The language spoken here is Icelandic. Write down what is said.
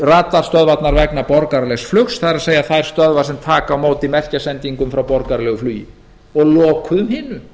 radarstöðvarnar vegna borgaralegs flug það er þær stöðvar sem taka á móti merkjasendingum frá borgaralegu flugi og lokuðum